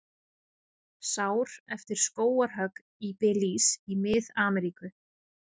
Sár eftir skógarhögg í Belís í Mið-Ameríku.